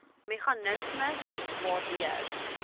meganisme bied waardeur